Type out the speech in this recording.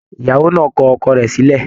Ìyàwó náà kọ ọkọ rẹ̀ sílẹ̀